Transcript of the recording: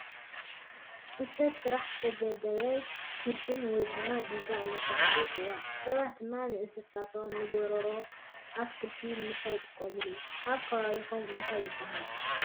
ብሰብ ሰራሕ ዝተገደበ ግድም ወይ ድማ ዲጋ እናተባሃለ ይፅውዓ ። ሰባት ድማ ንእንሰሳትን ንጎሮ ኣትክልቲ ንምስታይ ይጥቀምሉ። ኣብ ከባበቢኩም እንታይ ይባሃል?